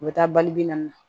U bɛ taa balibi na